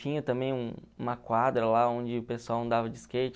Tinha também um uma quadra lá onde o pessoal andava de skate.